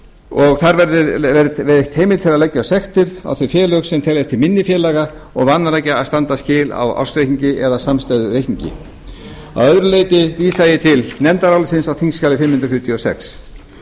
og þar verði veitt heimild til að leggja sektir á þau félög sem teljast til minni félaga og vanrækja að standa skil á ársreikningi eða samstæðureikningi að öðru leyti vísa ég til nefndarálitsins á þingskjali fimm hundruð fjörutíu og sjö háttvirtur þingmaður ögmundur jónasson var